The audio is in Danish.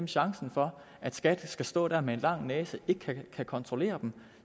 chancen for at skat skal stå der med en lang næse og ikke kan kontrollere dem